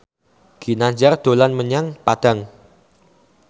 Ginanjar dolan menyang Padang